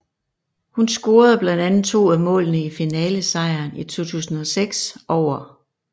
Hun scorede blandt andet to af målene i finalesejren i 2006 over